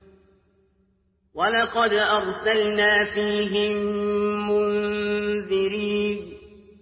وَلَقَدْ أَرْسَلْنَا فِيهِم مُّنذِرِينَ